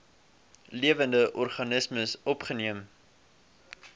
lewende organismes opgeneem